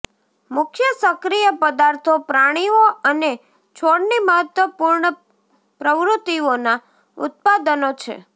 મુખ્ય સક્રિય પદાર્થો પ્રાણીઓ અને છોડની મહત્વપૂર્ણ પ્રવૃત્તિઓના ઉત્પાદનો છે